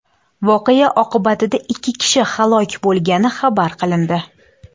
Voqea oqibatida ikki kishi halok bo‘lgani xabar qilindi.